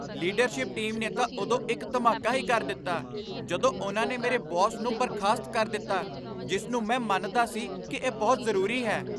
Leadership team ਨੇ ਤਾਂ ਉਦੋਂ ਇੱਕ ਧਮਾਕਾ ਹੀ ਕਰ ਦਿੱਤਾ ਜਦੋਂ ਉਨ੍ਹਾਂ ਨੇ ਮੇਰੇ ਬੌਸ ਨੂੰ ਬਰਖ਼ਾਸਤ ਕਰ ਦਿੱਤਾ ਜਿਸ ਨੂੰ ਮੈਂ ਮੰਨਦਾ ਸੀ ਕਿ ਇਹ ਬਹੁਤ ਜ਼ਰੂਰੀ ਹੈ।